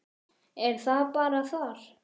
Er það bara þar?